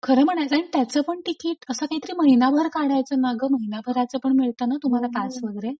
खरं म्हणायचंय त्याच पण तिकीट असं काहीतरी महिनाभर काढायचं नाग? महिनाभराचं पण मिळत ना तुम्हाला पास वगैरे?